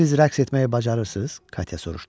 Siz rəqs etməyi bacarırsınız, Katya soruşdu.